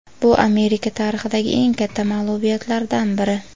"Bu Amerika tarixidagi eng katta mag‘lubiyatlardan biri".